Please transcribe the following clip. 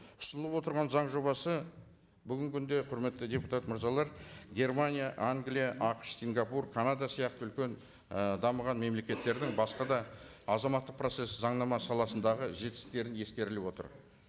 ұсынылып отырған заң жобасы бүгінгі күнде құрметті депутат мырзалар германия англия ақш сингапур канада сияқты үлкен і дамыған мемлекеттердің басқа да азаматтық процессі заңнама саласындағы жетістіктері ескеріліп отыр